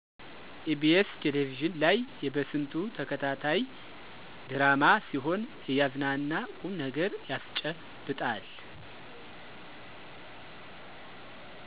ኢ.ቢ.ስ ቴለቪዥን ላይ የበስንቱ ተከታታይ ድራማ ሲሆን እያዝናና ቁምነገር ያስጨብጣል።